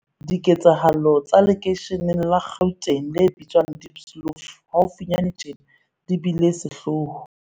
Diketsahalo tsa lekeisheneng la Gauteng le bitswang Diepsloot haufinyane tjena di bile sehloho.